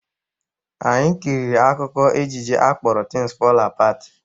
Anyi kiriri akụkọ ejije akpọrọ Tins Fọl Apat